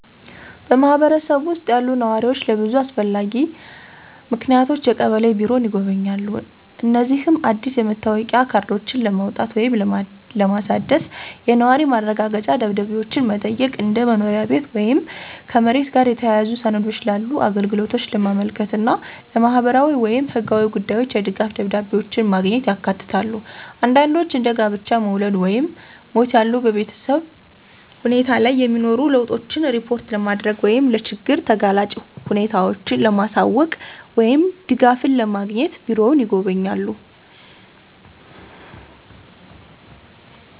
በማህበረሰቡ ውስጥ ያሉ ነዋሪዎች ለብዙ አስፈላጊ ምክንያቶች የቀበሌ ቢሮን ይጎበኛሉ። እነዚህም አዲስ የመታወቂያ ካርዶችን ለማውጣት ወይም ለማሳደስ፣ የነዋሪ ማረጋገጫ ደብዳቤዎችን መጠየቅ፣ እንደ መኖሪያ ቤት ወይም ከመሬት ጋር የተያያዙ ሰነዶች ላሉ አገልግሎቶች ለማመልከት እና ለማህበራዊ ወይም ህጋዊ ጉዳዮች የድጋፍ ደብዳቤዎችን ማግኘት ያካትታሉ። አንዳንዶች እንደ ጋብቻ፣ መውለድ ወይም ሞት ያሉ በቤተሰብ ሁኔታ ላይ የሚኖሩ ለውጦችን ሪፖርት ለማድረግ ወይም ለችግር ተጋላጭ ሁኔታዎችን ለማሳወቅ ወይም ድጋፍን ለማግኘት ቢሮውን ይጎበኛሉ።